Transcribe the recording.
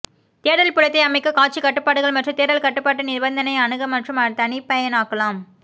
தேடல் புலத்தை அமைக்க காட்சி கட்டுப்பாடுகள் மற்றும் தேடல் கட்டுப்பாட்டு நிபந்தனை அணுக மற்றும் தனிப்பயனாக்கலாம்